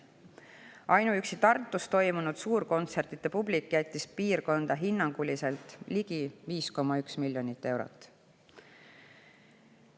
Ainuüksi Tartus toimunud suurkontsertide publik jättis piirkonda hinnanguliselt ligi 5,1 miljonit eurot.